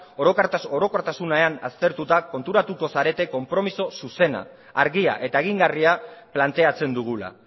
orokortasunean aztertuta konturatuko zarete konpromiso zuzena argia eta egingarria planteatzen dugula